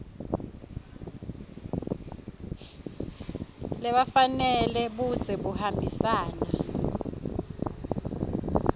lefanele budze buhambisana